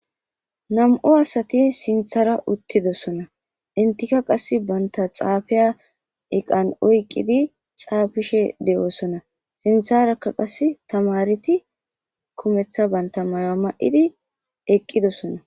Nam;u asati sinthara uttidosona intika qass banta xaafiya eqan oyqqidi xaafishe de7oosona sintharakka qas tamareti kumeththa banta maya ma7idi eqqidosona